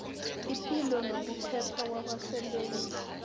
ipilo nokuphepha kwabasebenzi